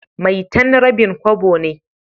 maitan rabin Kobo ne.